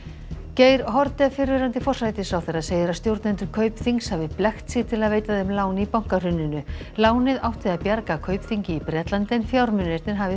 Geir Haarde fyrrverandi forsætisráðherra segir að stjórnendur Kaupþings hafi blekkt sig til að veita þeim lán í bankahruninu lánið átti að bjarga Kaupþingi í Bretlandi en fjármunirnir hafi